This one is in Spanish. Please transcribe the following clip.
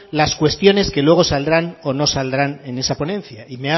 las cuestiones que luego saldrán o no saldrán en esa ponencia y